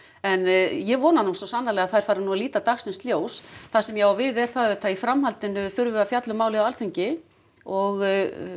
en ég vona nú svo sannarlega að þær fari nú að líta dagsins ljós það sem ég á við er það auðvitað að í framhaldinu þurfum við að fjalla um málið á Alþingi og